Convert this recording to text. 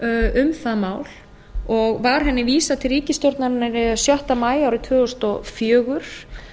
um það mál og var henni vísað til ríkisstjórnarinnar sjötta maí árið tvö þúsund og fjögur